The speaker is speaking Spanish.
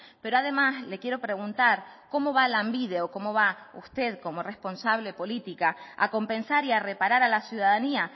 pero además le quiero preguntar cómo va lanbide o cómo va usted como responsable política a compensar y a reparar a la ciudadanía